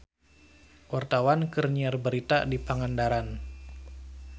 Wartawan keur nyiar berita di Pangandaran